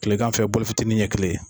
Tilegan fɛ fitinin ɲɛ kelen